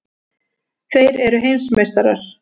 Þeir eru heimsmeistarar!!!